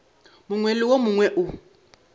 mongwe le wo mongwe o